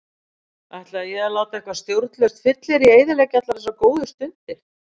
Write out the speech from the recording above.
Ætlaði ég að láta eitt stjórnlaust fyllirí eyðileggja allar þessar góðu stundir?